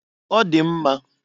Ọ dị mma.